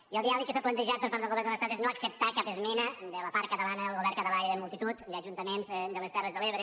i el diàleg que s’ha plantejat per part de l’estat és no acceptar cap esmena de la part catalana del govern català i de multitud d’ajuntaments de les terres de l’ebre